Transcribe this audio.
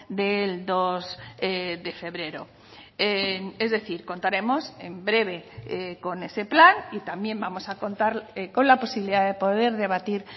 del dos de febrero es decir contaremos en breve con ese plan y también vamos a contar con la posibilidad de poder debatir